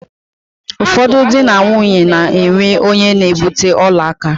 Ụfọdụ dị na nwaanyi na-enwe onye na-ebute ọla aka.